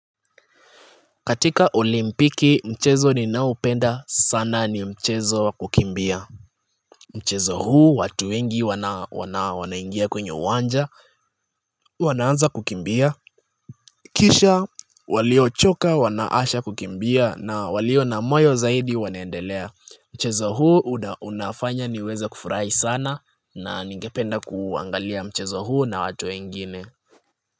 Katika olimpiki mchezo ninaoupenda sana ni mchezo wa kukimbia Mchezo huu watu wengi wanaingia kwenye uwanja wanaanza kukimbia Kisha waliochoka wanaasha kukimbia na walio na moyo zaidi wanaendelea Mchezo huu unafanya niweze kufurahi sana na ningependa kuangalia mchezo huu na watu wengine.